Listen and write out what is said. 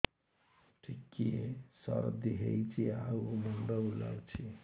ଟିକିଏ ସର୍ଦ୍ଦି ହେଇଚି ଆଉ ମୁଣ୍ଡ ବୁଲାଉଛି